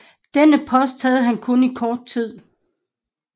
Denne post havde han kun i kort tid